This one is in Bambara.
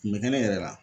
Kun bɛ kɛnɛ yɛrɛ la